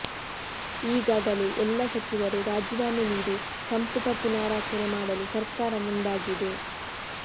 ಈಗಾಗಲೇ ಎಲ್ಲ ಸಚಿವರು ರಾಜೀನಾಮೆ ನೀಡಿ ಸಂಪುಟ ಪುನಾರಚನೆ ಮಾಡಲು ಸರ್ಕಾರ ಮುಂದಾಗಿದೆ